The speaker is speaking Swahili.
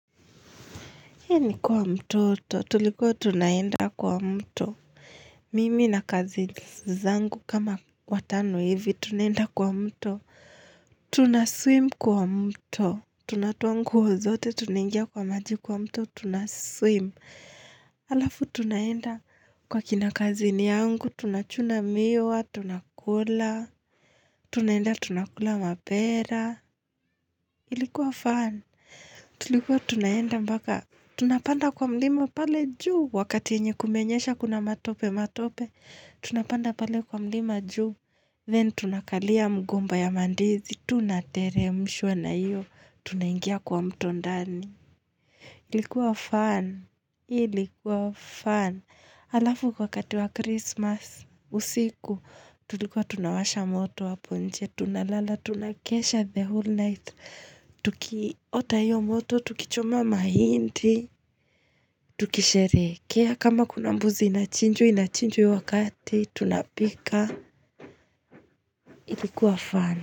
Hei ni kwa mtoto, tulikuwa tunaenda kwa mto. Mimi na cousins zangu kama watano hivi, tunaenda kwa mto. Tunaswim kwa mto. Tunatowa nguo zote, tunaingia kwa maji kwa mto, tunaswim. Halafu tunaenda kwa kina cousin yangu, tunachuna miwa, tunakula. Tunaenda tunakula mapera. Ilikuwa fun Tulikuwa tunaenda mbaka. Tunapanda kwa mlima pale juu, wakati nye kumenyesha kuna matope matope, tunapanda pale kwa mlima juu, then tunakalia mgomba ya mandizi, tunatere mshwa na iyo, tunaingia kwa mto ndani. Ilikuwa fun, ilikuwa fun, alafu kwa kati wa Christmas usiku tulikuwa tunawasha moto hapo nje, tunalala, tunakesha the whole night, tukiota iyoo moto, tukicho ma hindi, tukisherekea kama kunambuzi inachinjwa inachinjwa iyo wakati, tunapika, ilikuwa fun.